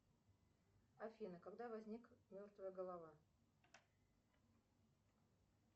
афина когда возник мертвая голова